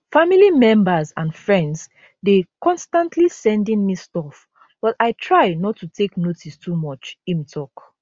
family members and friends dey constantly sending me stuff but i try not to take notice too much im tok